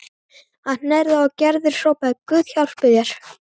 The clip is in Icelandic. Hann hnerraði og Gerður hrópaði: Guð hjálpi þér